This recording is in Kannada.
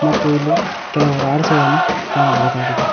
ಮತ್ತು ಇಲ್ಲಿ ಕೆಲವು ರಾಡ್ಸ ಗಳನ್ನು ಕಾಣಬಹುದಾಗಿದೆ.